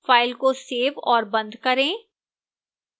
file को save और बंद करें